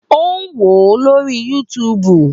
Ó wò ó lórí YouTube